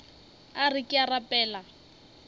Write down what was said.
a re ke a rapela